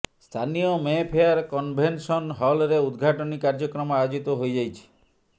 ସ୍ଥାନୀୟ Mayfair convention ହଲରେ ଉଦଘାଟନୀ କାର୍ଯ୍ୟକ୍ରମ ଆୟୋଜିତ ହୋଇଯାଇଛି